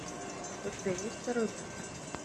у тебя есть второй брак